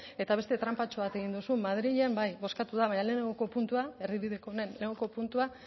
eta beste tranpatxoa egin duzu madrilen bai bozkatu da baina lehengoko puntua erdibideko honen lehenengo puntua